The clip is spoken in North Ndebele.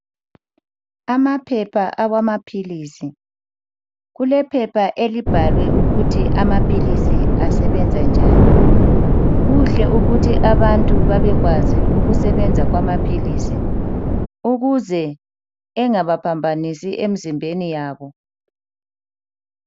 Amaphepha amapills kulephepha elibhalwe ukuthi amapills asebenza njani kuhle ukuthi abantu bebekwazi ukusebenza kwamapills engabaphambanisi emzimbeni yabo